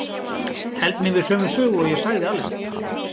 Held mig við sömu sögu og ég sagði Alexander.